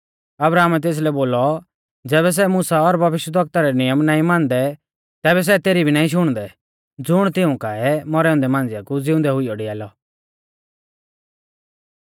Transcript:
अब्राहमै तेसलै बोलौ ज़ैबै सै मुसा और भविष्यवक्ताऔं रै नियम नाईं मानदै तैबै सै तेसरी भी नाईं शुणदौ ज़ुण तिऊं काऐ मौरै औन्दै मांझ़िया कु ज़िउंदै हुइयौ डिआलौ